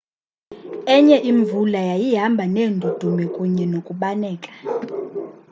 enye imvula yayihamba neendudumo kunye nokubaneka